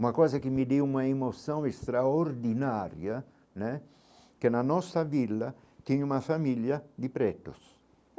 Uma coisa que me deu uma emoção extraordinária né, que na nossa vila tinha uma família de pretos.